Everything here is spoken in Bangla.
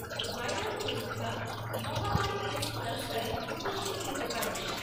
ভাইরাল পরীক্ষা মহামারী কেস ক্লাস্টারে উপযুক্ত হতে পারে।